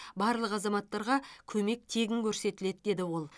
барлық азаматтарға көмек тегін көрсетіледі деді ол